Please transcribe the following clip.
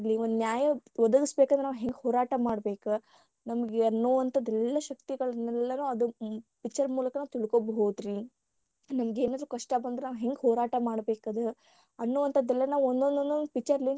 ಒಂದ ನ್ಯಾಯ ಒದಗಿಸಬೇಕಂದ್ರ ನಾವು ಹೆಂಗ ಹೋರಾಟ ಮಾಡ್ಬೇಕ ನಮಗ ಅನ್ನುವಂತಾದ ಎಲ್ಲಾ ಶಕ್ತಿಗಳನ್ನೆಲ್ಲನು ಅದ picture ಮೂಲಕ ನಾವ ತಿಳ್ಕೊಬಹುದು ರೀ ಏನೋ ನಮಿಗೆನಾದ್ರೂ ಕಷ್ಟ ಬಂದ್ರ ಹೆಂಗ ಮಾಡ್ಬೇಕಾ ಅದ ಅನ್ನುವಂತಾದ ಎಲ್ಲಾ ಒಂದೊಂದು ಒಂದೊಂದ picture ಲಿಂತ.